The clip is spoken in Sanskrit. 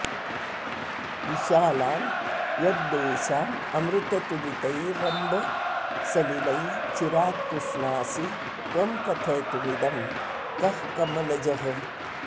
विशालान् यद्देशानमृततुलितैरम्ब सलिलेः चिरात् पुष्णासि त्वं कथयितुमिदं कः कमलजः